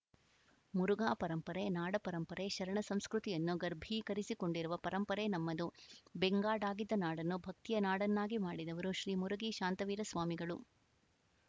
ಮುರುಘಾ ಪರಂಪರೆ ನಾಡ ಪರಂಪರೆ ಶರಣ ಸಂಸ್ಕೃತಿಯನ್ನು ಗರ್ಭೀಕರಿಸಿಕೊಂಡಿರುವ ಪರಂಪರೆ ನಮ್ಮದು ಬೆಂಗಾಡಾಗಿದ್ದ ನಾಡನ್ನು ಭಕ್ತಿಯ ನಾಡನ್ನಾಗಿ ಮಾಡಿದವರು ಶ್ರೀ ಮುರುಗಿ ಶಾಂತವೀರಸ್ವಾಮಿಗಳು